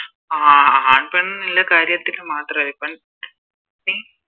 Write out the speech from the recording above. ആഹ് ആൺ പെൺ എന്നുള്ള കാര്യത്തിൽ മാത്രല്ല ഇപ്പോം